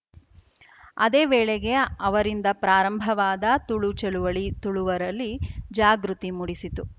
ಅದೇ ವೇಳೆಗೆ ಅವರಿಂದ ಪ್ರಾರಂಭವಾದ ತುಳು ಚಳುವಳಿ ತುಳುವರಲ್ಲಿ ಜಾಗೃತಿ ಮೂಡಿಸಿತು